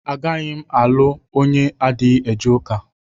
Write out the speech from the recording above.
Agaghị m alụ onye adịghị eje ụka.